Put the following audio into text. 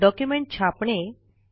document छापणे